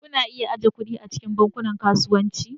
Kuna iya ajiye kuɗi a cikin Bankunan Kasuwanci.